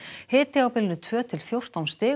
hiti á bilinu tvö til fjórtán stig